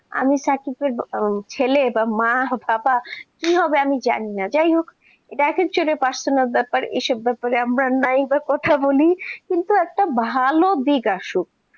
আমি সাকিবের ছেলে বা মা পাপা। কি হবে আমি জানিনা, যাই হোক এটা actuallypersonal ব্যাপার টা নিয়ে আমরা নাইবা কথা বলি একটা ভালো দিক আসুক